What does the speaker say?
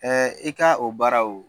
i k ka o baara wo